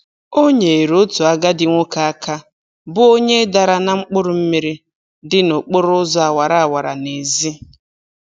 O nyeere otu agadi nwoke aka bụ onye dara na mkpụrụmmiri dị n'okporoụzọ awara awa n'ezi.